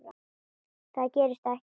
Það gerist ekki.